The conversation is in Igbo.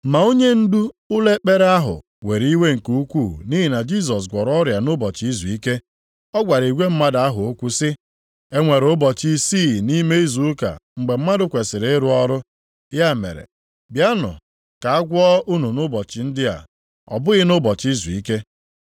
Ma onyendu ụlọ ekpere ahụ were iwe nke ukwuu nʼihi na Jisọs gwọrọ ọrịa nʼụbọchị izuike. Ọ gwara igwe mmadụ ahụ okwu sị, “E nwere ụbọchị isii nʼime izu ụka mgbe mmadụ kwesiri ịrụ ọrụ. Ya mere, bịanụ ka a gwọọ unu nʼụbọchị ndị a, ọ bụghị nʼụbọchị izuike.”